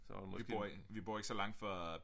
Vi bor vi bor ikke så langt fra